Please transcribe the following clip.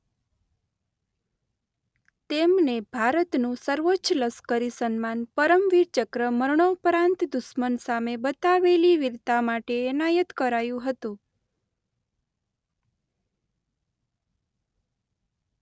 તેમને ભારતનું સર્વોચ્ચ લશ્કરી સન્માન પરમવીર ચક્ર મરણોપરાંત દુશ્મન સામે બતાવેલી વીરતા માટે એનાયત કરાયું હતું.